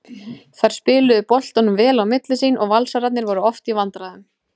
Þær spiluðu boltanum vel á milli sín og Valsararnir voru oft í vandræðum.